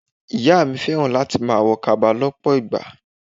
Ìyá mi fẹ́ràn láti máa wo kaba lọpọ ìgbà.